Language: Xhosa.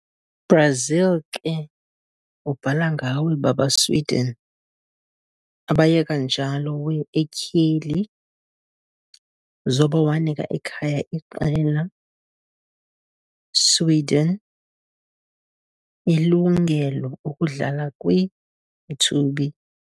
Brazil ke ubhala ngawe baba Sweden, abaye kanjalo wear etyheli, zoba wanika ekhaya iqela, Sweden, ilungelo ukudlala kwi-mthubi.